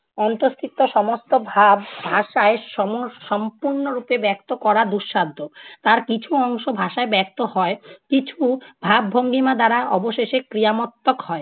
অন্তঃস্থিত সমস্ত ভাব ভাষায় সমস~ সম্পূর্ণ রূপে ব্যক্ত করা দুঃসাধ্য। তার কিছু অংশ ভাষায় ব্যক্ত হয় কিছু ভাব ভঙ্গিমা দ্বারা অবশেষে ক্রিয়ামত্তক হয়।